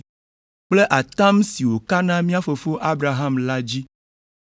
kple atam si wòka na mía fofo Abraham la dzi